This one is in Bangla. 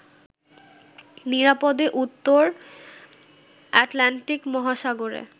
নিরাপদে উত্তর আটলান্টিক মহাসাগরে